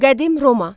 Qədim Roma.